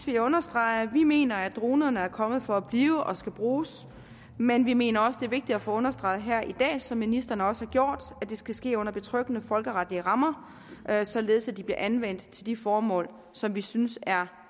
jeg understrege at vi mener at dronerne er kommet for at blive og skal bruges men vi mener også det er vigtigt at få understreget her i dag som ministeren også har gjort at det skal ske under betryggende folkeretlige rammer således at de bliver anvendt til de formål som vi synes er